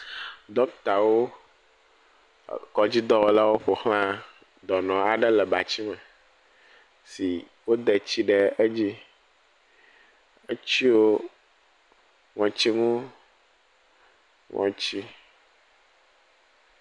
Ɖɔkitawo, dɔnɔdzikpɔlawo ƒo ʋlã dɔnɔ aɖe le batsime si wode tsi ɖe edzi. Etsyɔ ŋɔtsinu ŋɔtsi.